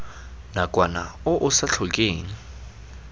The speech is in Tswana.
nakwana o o sa tlhokeng